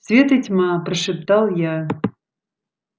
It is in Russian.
свет и тьма прошептал я